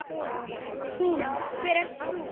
Hún: Hver ert þú?